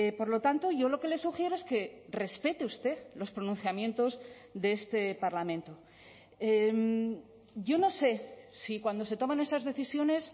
por lo tanto yo lo que le sugiero es que respete usted los pronunciamientos de este parlamento yo no sé si cuando se toman esas decisiones